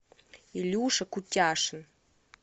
илюша кутяшин